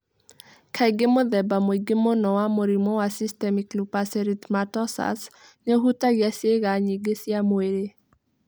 Kaingĩ mũthemba mũingĩ mũno wa Mũrimũ wa systmatic Lupu s erythematosus, nĩ ũhutagia ciega nyingĩ cia mwĩrĩ.